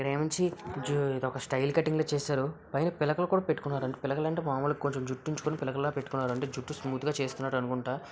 ఇక్కడ ఏమొచ్చి జూ ఇదొక స్టైల్ కటింగ్ లా చేసారు. పైన పిలకలు కూడా పెట్టుకున్నారు. పిలకలు అంటే మాములుగా కొంచెం జుట్టు ఉంచుకొని పిలకలులా పెట్టుకున్నారు. అంటే జుట్టు స్మూత్ గా చేసుకున్నారు అనుకుంట.